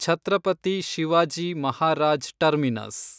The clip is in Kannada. ಛತ್ರಪತಿ ಶಿವಾಜಿ ಮಹಾರಾಜ್ ಟರ್ಮಿನಸ್